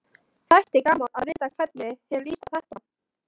Þætti gaman að vita hvernig þér líst á þetta?